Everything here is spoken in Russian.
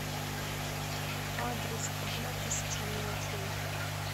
адрес одна тысяча мелочей